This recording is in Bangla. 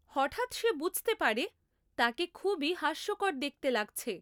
হঠাৎ সে বুঝতে পারে, তাকে খুবই হাস্যকর দেখতে লাগছে।